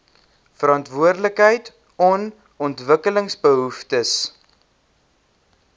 verantwoordelikheid on ontwikkelingsbehoeftes